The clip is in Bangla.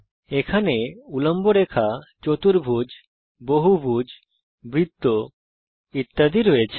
এখানে উল্লম্ব বাইসেক্টারস বা চতুর্ভুজ পলিগন বা বহুভুজ তাছাড়া বৃত্ত ইত্যাদি আছে